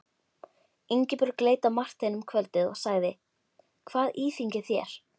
Ingibjörg leit á Martein um kvöldið og sagði: Hvað íþyngir þér?